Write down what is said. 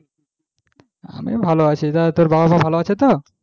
আমি ভালো আছি তা তোর বাবা মা ভালো আছে তো,